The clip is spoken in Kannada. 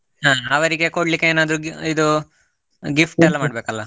ಹ ಅವರಿಗೆ ಕೊಡ್ಲಿಕ್ಕೆ ಏನಾದ್ರೂ gi~ ಇದು, gift ಎಲ್ಲ ಮಾಡ್ಬೇಕಲ್ಲಾ?